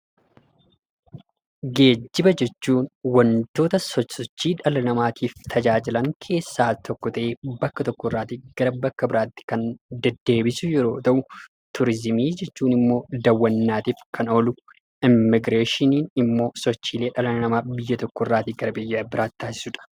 Geejjiba jechuun wantoota sosochii dhala namaatiif tajaajilan keessaa tokko ta'ee bakka tokko irraa gara bakka biraatti kan deddeebisu yeroo ta'u, turiizimii jechuun immoo daawwannaaf kan oolu, immigireeshinii jechuun immoo sochiilee dhala namaa biyya tokko irraa gara biraatti taasisudha.